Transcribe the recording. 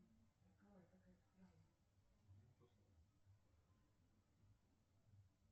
афина здравствуй как бонусами спасибо оплатить мобильную связь мтс